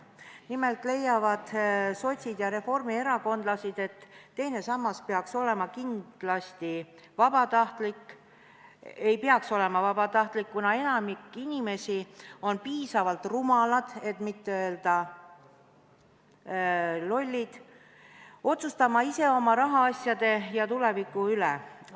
Nimelt leiavad sotsid ja reformierakondlased, et teine sammas ei peaks kindlasti olema vabatahtlik, kuna enamik inimesi on liiga rumalad, et mitte öelda lollid, otsustamaks ise oma rahaasjade ja tuleviku üle.